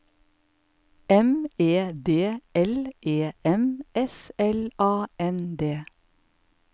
M E D L E M S L A N D